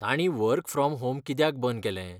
तांणी work from home कित्याक बंद केलें?